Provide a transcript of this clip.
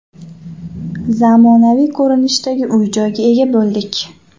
Zamonaviy ko‘rinishdagi uy-joyga ega bo‘ldik.